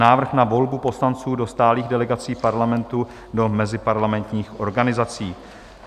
Návrh na volbu poslanců do stálých delegací Parlamentu do meziparlamentních organizací